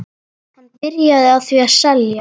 Hann byrjaði því að selja.